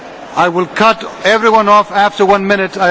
I will cut everyone off after one minute.